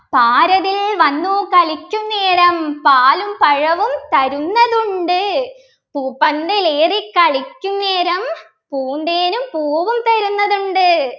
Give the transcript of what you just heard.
പാരതിൽ വന്നു കളിക്കുന്നേരം പാലും പഴവും തരുന്നതുണ്ട് പൂപ്പന്തലേറിക്കളിക്കുന്നേരം പൂന്തേനും പൂവും തരുന്നതുണ്ട്